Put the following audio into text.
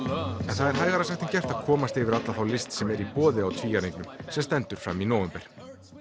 það er hægara sagt en gert að komast yfir alla þá list sem er í boði á Tvíæringnum sem stendur fram í nóvember